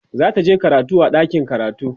zataje karatu a ɗakin karatu